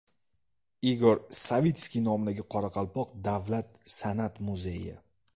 Igor Savitskiy nomidagi Qoraqalpoq davlat san’at muzeyi.